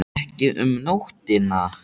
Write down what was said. Ekki um nóttina?